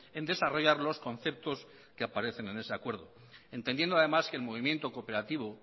en desarrollar los conceptos que aparecen en ese acuerdo entendiendo además que el movimiento cooperativo